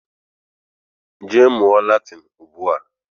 Jee mmuo Latin Ugbua